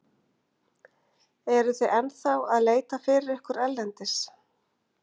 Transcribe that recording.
Eruð þið ennþá að leita fyrir ykkur erlendis?